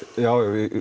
já já